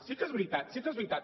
sí que és veritat sí que és veritat